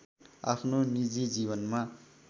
आफ्नो निजी जीवनमा